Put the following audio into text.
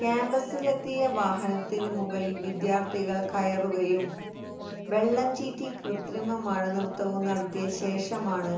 ക്യാമ്പസിലെത്തിയ വാഹനത്തിനു മുകളിൽ വിദ്യാർത്ഥികൾ കയറുകയും വെള്ളം ചീറ്റി കൃത്രിമ മഴനൃത്തവും നടത്തിയ ശേഷമാണ്